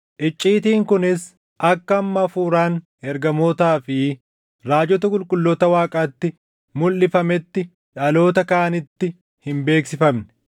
icciitiin kunis akka amma Hafuuraan ergamootaa fi raajota qulqulloota Waaqaatti mulʼifametti dhaloota kaanitti hin beeksifamne.